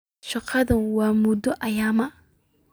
Shaqadu wa muddo cayiman.